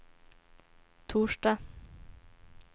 torsdag